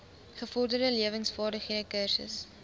gevorderde lewensvaardighede kursus